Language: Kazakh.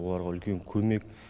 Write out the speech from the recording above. оларға үлкен көмек